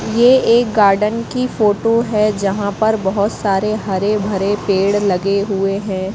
ये एक गार्डन की फोटो है जहां पर बहोत सारे हरे भरे पेड़ लगे हुए हैं।